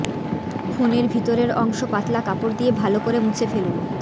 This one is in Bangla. ফোনের ভিতরের অংশ পাতলা কাপড় দিয়ে ভালো করে মুছে ফেলুন